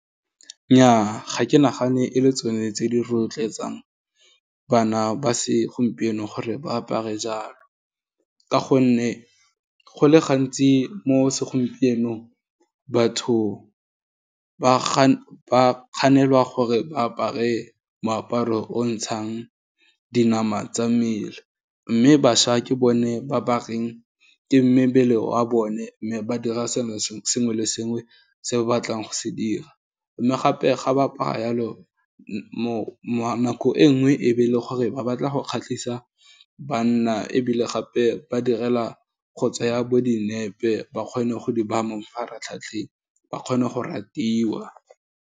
Nnyaa, ga ke nagane e le tsone tse di rotloetsang bana ba segompieno gore, ba apare jalo, ka gonne, go le gantsi mo segompienong batho ba kganelwa gore ba apare moaparo o ntshang dinama tsa mmele, mme baša ke bone ba bareng ke mebele wa bone, mme ba dira sengwe le sengwe se ba batlang go se dira, mme gape ga ba apara yalo nako e nngwe e be e le gore ba batla go kgatlhisa banna, ebile gape ba direla kgotsa go tsaya bo dinepe, ba kgone go di baya mo mafaratlhatlheng, ba kgone go ratiwa.